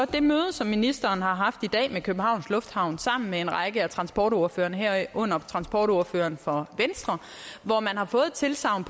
det møde som ministeren har haft i dag med københavns lufthavne sammen med en række af transportordførerne herunder transportordføreren for venstre hvor man har fået et tilsagn